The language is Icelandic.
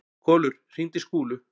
Kolur, hringdu í Skúlu.